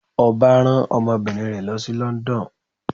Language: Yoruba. Ọba rán ọmọbinrin rẹ lo si London.